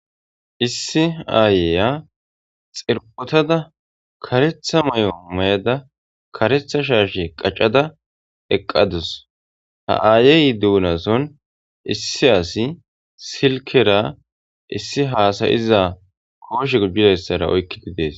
Issi aayeya xirpotada karetha may7o mayada karetha shaashe qaccada eqqadus ha aayeyyi duunason issi asi silkera issi haasayiza kooshe gujizayssara oykkididees.